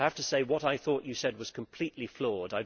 I have to say what I thought you said was completely flawed.